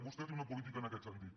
vostè té una política en aquest sentit